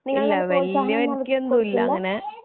ഇല്ല വല്യവർക്കൊന്നും ഇല്ല അങ്ങനെ